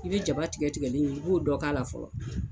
I bɛ jaba tigɛ tigɛlen in b'o dɔ k'a la fɔlɔ